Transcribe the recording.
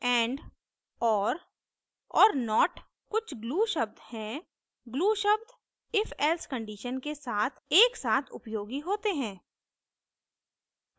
and or और not कुछ glue शब्द हैं glue शब्द ifelse conditions के साथ एकसाथ उपयोगी होते हैं